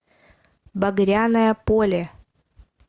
багряное поле